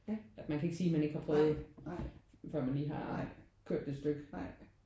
At man kan ikke sige man ikke har prøvet før man lige kørt et stykke